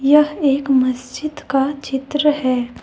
यह एक मस्जिद का चित्र है।